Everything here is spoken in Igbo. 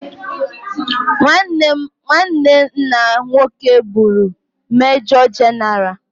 Nwanne nna nwoke bụụrụ mejọ jenaraalụ.